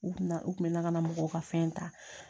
U kun na u kun bɛ na ka na mɔgɔw ka fɛn ta